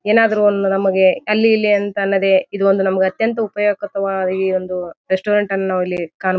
ಏನಾದ್ರು ಒಂದು ನಮಗೆ ಅಲ್ಲಿ ಇಲ್ಲಿ ಅಂತಲ್ಲದೆ ಇದು ಒಂದು ನಮಗ ಅತ್ಯಂತ ಉಪಯುಕ್ತ ವಾದ ಒಂದು ರೆಸ್ಟೋರೆಂಟ್ ಅನ್ನು ನಾವ್ ಇಲ್ಲಿ ಕಾಣ --